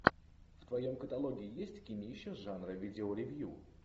в твоем каталоге есть кинище жанра видеоревью